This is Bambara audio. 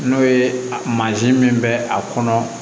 N'o ye mansin min bɛ a kɔnɔ